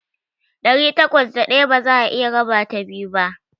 Ɗari takwas da ɗaya ba za'a iya rabata biyu ba.